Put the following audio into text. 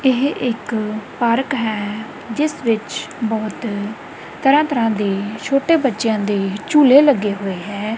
ਏਹ ਇੱਕ ਪਾਰਕ ਹੈ ਜਿੱਸ ਵਿੱਚ ਬੋਹੁਤ ਤਰਹਾਂ ਤਰਹਾਂ ਦੇ ਛੋਟੇ ਬੱਚੇ ਆਂ ਦੇ ਝੂਲੇ ਲੱਗੇ ਹੋਏ ਹੈਂ।